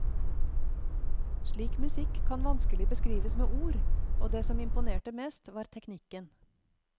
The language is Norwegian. Slik musikk kan vanskelig beskrives med ord, og det som imponerte mest var teknikken.